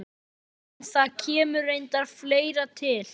En það kemur reyndar fleira til.